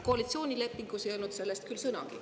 Koalitsioonilepingus ei ole sellest küll sõnagi.